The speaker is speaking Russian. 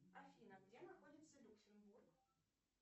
афина где находится люксембург